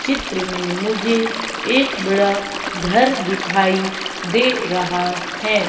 चित्र में मुझे एक बड़ा घर दिखाई दे रहा है।